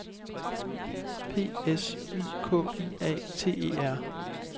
P S Y K I A T E R